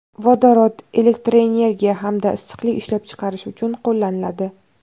Vodorod elektroenergiya hamda issiqlik ishlab chiqarish uchun qo‘llaniladi.